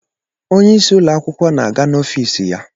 Onyeisi ụlọakwụkwọ na-aga n'ọfis ya.